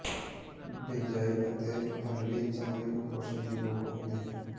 ਬਿਜਾਈ ਅਤੇ ਫਲੱਬੀ ਚਮੜੀ ਨੂੰ ਪੋਸ਼ਣ ਦੀ ਲੋੜ ਹੁੰਦੀ ਹੈ